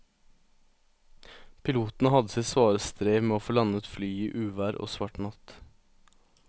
Piloten hadde sitt svare strev med å få landet flyet i uvær og svart natt.